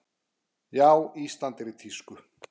Já, Ísland er í tísku.